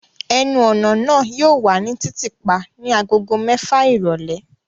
Ẹnu-ọna naa yóò wa ni titiipa ni agogo mẹfa irọlẹ